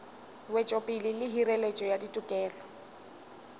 wetšopele le hireletšo ya ditokelo